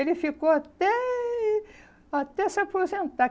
Ele ficou até... até se aposentar.